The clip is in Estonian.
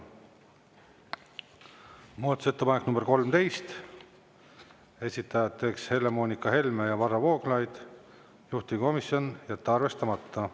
Muudatusettepanek nr 13, esitajateks Helle-Moonika Helme ja Varro Vooglaid, juhtivkomisjon: jätta arvestamata.